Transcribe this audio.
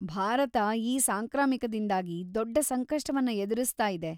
ಭಾರತ ಈ ಸಾಂಕ್ರಾಮಿಕದಿಂದಾಗಿ ದೊಡ್ಡ ಸಂಕಷ್ಟವನ್ನ ಎದುರಿಸ್ತಾ ಇದೆ.